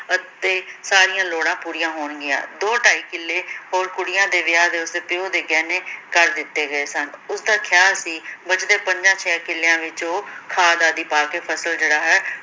ਅਤੇ ਸਾਰੀਆਂ ਲੋੜਾਂ ਪੂਰੀਆਂ ਹੋਣਗੀਆਂ ਦੋ-ਢਾਈ ਕਿੱਲੇ ਹੋਰ, ਕੁੜੀਆਂ ਦੇ ਵਿਆਹ ਤੇ, ਉਸਦੇ ਪਿਓ ਨੇ ਗਹਿਣੇ ਕਰ ਦਿੱਤੇ ਗਏ ਸਨ। ਉਸਦਾ ਖ਼ਿਆਲ ਸੀ ਬਚਦੇ ਪੰਜਾਂ-ਛੇਆਂ ਕਿੱਲਿਆਂ ਵਿੱਚ ਉਹ ਖ਼ਾਦ ਆਦਿ ਪਾ ਕੇ ਫ਼ਸਲ ਜਿਹਵਾ ਹੈ